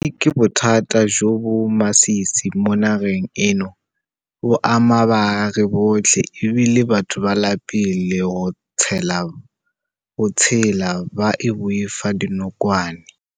Bosenyi ke bothata jo bo masisi mo nageng eno. Bo ama baagi botlhe e bile batho ba lapile go tshela ba boifa dinokwane.